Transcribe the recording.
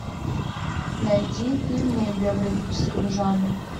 найди фильмы биографического жанра